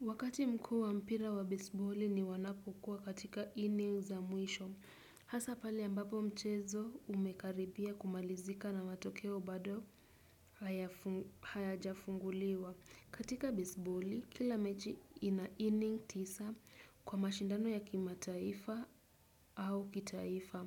Wakati mkuu wa mpira wa bisboli ni wanapokuwa katika inning za mwisho. Hasa pale ambapo mchezo umekaribia kumalizika na matokeo bado haya jafunguliwa. Katika bisboli, kila mechi ina inning tisa kwa mashindano ya kimataifa au kitaifa.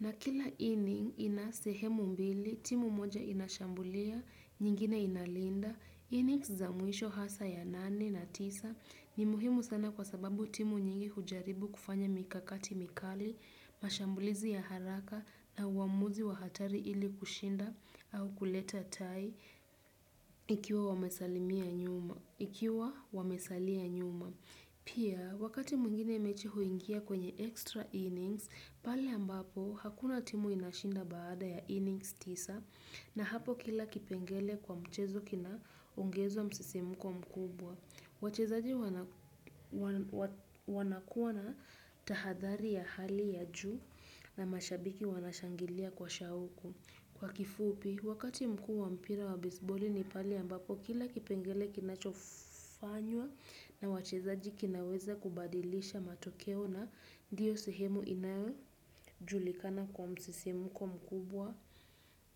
Na kila inning ina sehemu mbili, timu moja inashambulia, nyingine inalinda. Innings za mwisho hasa ya nane na tisa ni muhimu sana kwa sababu timu nyingi hujaribu kufanya mikakati mikali, mashambulizi ya haraka na uamuzi wa hatari ili kushinda au kuleta tai ikiwa wamesalimia nyuma. Ikiwa wamesalia nyuma. Pia, wakati mwingine mechi huingia kwenye extra innings, pale ambapo hakuna timu inashinda baada ya innings tisa na hapo kila kipengele kwa mchezo kina ungeza msisimuko mkubwa. Wachezaji wanakuwa na tahadhari ya hali ya juu na mashabiki wanashangilia kwa shauku. Kwa kifupi, wakati mkuu wa mpira wa bisboli ni pale ambako kila kipengele kinachofanywa na wachezaji kinaweza kubadilisha matokeo na ndiyo sihemu inajulikana kwa msisimuko mkubwa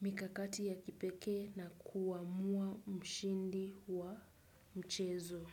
mikakati ya kipeke na kuamua mshindi wa mchezo.